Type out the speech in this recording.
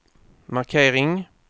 markering